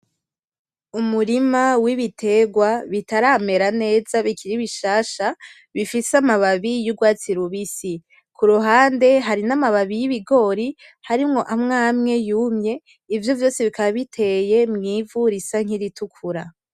Umurima w'ibiterwa bitaramera neza bikiri bishasha bifise amababi y'urwatsi rubisi. Ku ruhande hari n'amababi y'ibigori harimwo amwe amwe yumye. Ivyo vyose bikaba biteye mw'ivu risa n'iritukura.